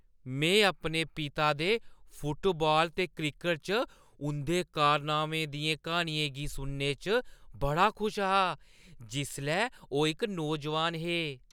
में अपने पिता दे फुटबाल ते क्रिकट च उंʼदे कारनामें दियें कहानियें गी सुनने च बड़ा खुश हा जिसलै ओह् इक नौजवान हे।